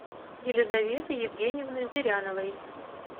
елизаветы евгеньевны зыряновой